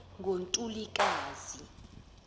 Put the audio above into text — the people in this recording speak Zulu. ngontulikazi